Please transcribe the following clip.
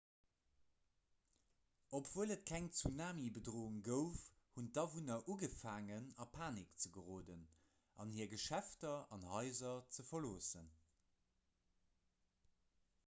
obwuel et keng tsunamibedroung gouf hunn d'awunner ugefaangen a panik ze geroden an hir geschäfter an haiser ze verloossen